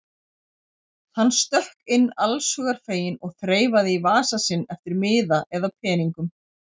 Hann stökk inn allshugar feginn og þreifaði í vasa sinn eftir miða eða peningum.